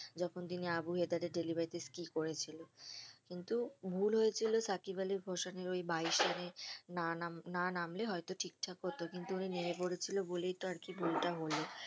যখন তিনি আবু হেতারের delivery তে করেছিল কিন্তু ভুল হয়েছিল সাকিব আলীর ওই বাইশ রানে না নাম না নামলে হয়তো ঠিক থাকে হতো কিন্তু ওই নেমে পড়েছিল বলেইতো আরকি ভুলটা হলো